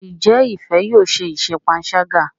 Njé Ifẹ yóò ṣe iṣé panṣaga.?